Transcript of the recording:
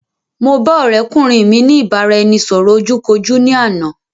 Mo ba ọ̀rẹ́kùnrin mi ní ìbáraẹnisọ̀rọ̀ ojú kojú ní àná